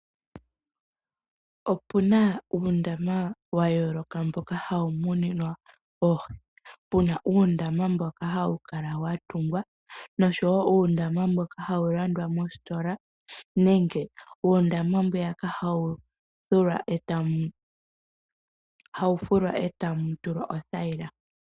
Opuna uundama wa yooloka mboka hawu muninwa oohi. Puna uundama mboka hawu kala wa tungwa, nosho wo uundama mboka hawu landwa mositola, nenge uundama mbwiyaka hawu fulwa eta mu tulwa othayila.